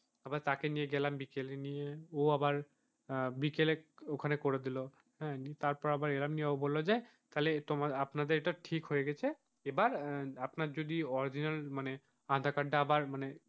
আবার তাকে নিয়ে গেলাম বিকেলে নিয়ে ও আবার আহ বিকেলে ওখানে করে দিল হ্যাঁ তারপর আবার এলাম নিয়ে ও বললো যে তাহলে তোমার আপনাদের এটা ঠিক হয়ে গেছে এবার আপনার যদি original মানে আধার কার্ডটা আবার,